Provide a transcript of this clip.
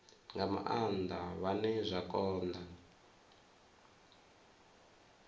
nga maanda vhane zwa konda